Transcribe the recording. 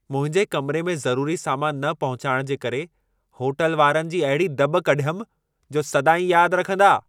मुंहिंजे कमिरे में ज़रूरी सामान न पहुचाइण जे करे, होटल वारनि जी अहिड़ी दॿ कढियमि, जो सदाईं यादि रखंदा।